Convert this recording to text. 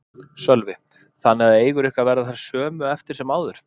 Sölvi: Þannig að eigur ykkar verða þær sömu eftir sem áður?